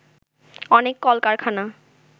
অনেক কলকারখানা